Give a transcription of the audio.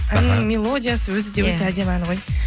әннің мелодиясы өзі де өте әдемі ән ғой